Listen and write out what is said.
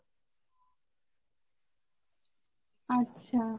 আচ্ছা